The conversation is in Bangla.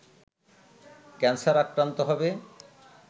ক্যানসার আক্রান্ত হবে